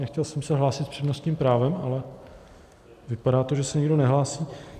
Nechtěl jsem se hlásit s přednostním právem, ale vypadá to, že se nikdo nehlásí.